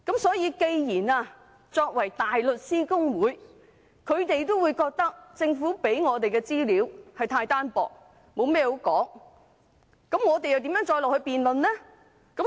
所以，既然連大律師公會也覺得政府給議員的資料太單薄，沒甚麼可以討論，我們又如何繼續辯論？